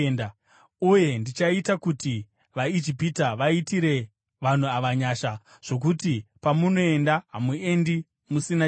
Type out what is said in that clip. “Uye ndichaita kuti vaIjipita vaitire vanhu ava nyasha, zvokuti pamunoenda hamuendi musina chinhu.